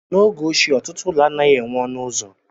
N'oge ochie, ọtụtụ ụlọ anaghị enweghị ọnụ ụzọ.